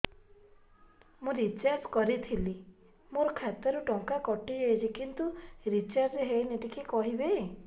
ମୁ ରିଚାର୍ଜ କରିଲି ମୋର ଖାତା ରୁ ଟଙ୍କା କଟି ଯାଇଛି କିନ୍ତୁ ରିଚାର୍ଜ ହେଇନି ଟିକେ କହିବେ